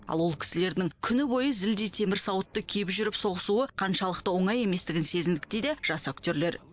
ал ол кісілердің күні бойы зілдей темір сауытты киіп жүріп соғысуы қаншалықты оңай еместігін сезіндік дейді жас актерлер